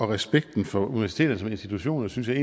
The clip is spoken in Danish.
respekten for universiteterne som institutioner synes jeg